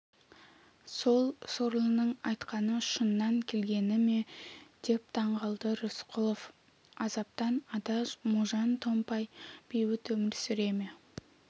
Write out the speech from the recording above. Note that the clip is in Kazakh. сол сорлының айтқаны шыннан келгені ме деп таңғалды рысқұлов азаптан ада можан-томпай бейбіт өмір сүрер ме